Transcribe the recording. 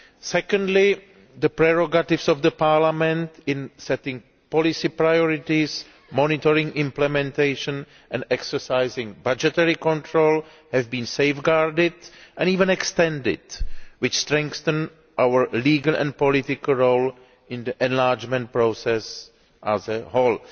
Secondly the prerogatives of Parliament in setting policy priorities, monitoring implementation and exercising budgetary control has been safeguarded and even extended, which strengthens our legal and political role in the enlargement process as a whole.